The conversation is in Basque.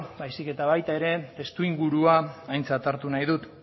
baizik eta baita ere testuingurua aintzat hartu nahi dut